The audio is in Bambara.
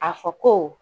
A fɔ ko